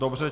Dobře.